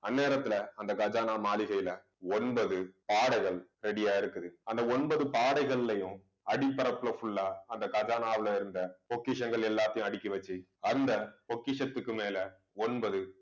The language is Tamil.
அந்நேரத்துல அந்த கஜானா மாளிகையில ஒன்பது பாடைகள் ready ஆ இருக்குது. அந்த ஒன்பது பாடைகளையும் அடிப்பரப்புல full ஆ அந்த கஜானாவுல இருந்த பொக்கிஷங்கள் எல்லாத்தையும் அடுக்கி வச்சு அந்த பொக்கிஷத்துக்கு மேல ஒன்பது